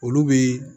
Olu bi